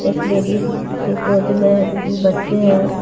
एक लेडिस के गोद में बच्चे हैं।